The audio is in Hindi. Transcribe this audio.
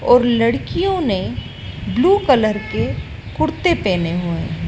और लड़कियों ने ब्लू कलर के कुर्ते पहने हुए--